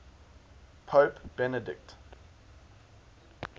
pope benedict